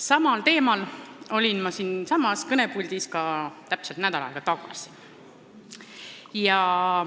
Samal teemal rääkisin ma siinsamas kõnepuldis ka täpselt nädal aega tagasi.